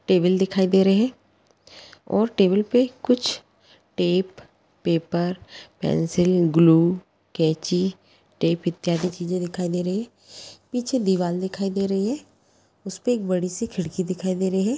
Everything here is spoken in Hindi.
टेबल दिखाई दे रही है टेबल पे कुछ टेप पेपर पेंसिल ग्लू कैंची टेप इत्यादि चीज़ें दिखाई दे रही हैं पीछे दीवार दिखाई दे रही है उसपर एक बड़ी सी खिड़की दिखाई दे रही है।